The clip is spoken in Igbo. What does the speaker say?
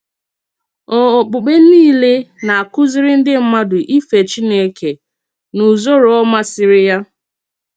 Ò òkpùkpè niile na-akúzìrì ndí mmádụ̀ ìfè Chínèkè n’ùzòrò ọ màsìrì ya?